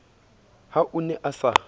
ha o ne a sa